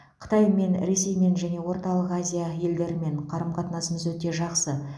қытаймен ресеймен және орталық азия елдерімен қарым қатынасымыз өте жақсы